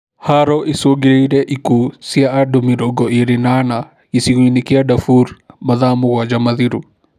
Haro icũngĩrĩirie ikuũ cia andũ mĩrongo ĩrĩ na ana, gĩcigo-inĩ kĩa Daefur mathaa mũgwanja mathiru